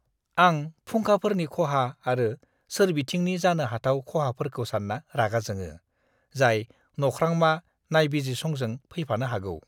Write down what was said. आं फुंखाफोरनि खहा आरो सोरबिथिंनि जानो हाथाव खहाफोरखौ सानना रागा जोङो, जाय नख्रांमा नायबिजिरसंजों फैफानो हागौ!